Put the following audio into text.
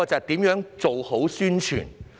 第一，是做好宣傳。